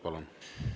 Palun!